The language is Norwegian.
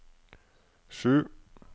sju